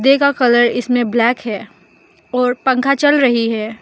पंखे का कलर इसमें ब्लैक है और पंखा चल रही है।